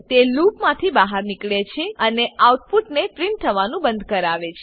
તે લૂપમાંથી બહાર નીકળે છે અને આઉટપુટને પ્રીંટ થવાનું બંધ કરાવે છે